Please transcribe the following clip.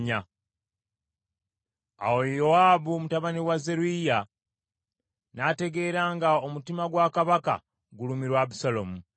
Awo Yowaabu mutabani wa Zeruyiya n’ategeera nga omutima gwa kabaka gulumirwa Abusaalomu.